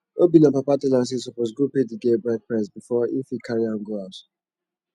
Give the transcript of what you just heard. obinna papa tell am say e suppose go pay the girl bride price before im fit carry am go house